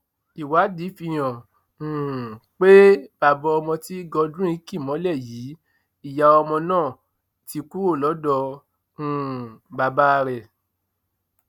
ìwádìí fihàn um pé bàbá ọmọ tí godwin kì mọlẹ yìí ìyá ọmọ náà ti kúrò lọdọ um bàbá rẹ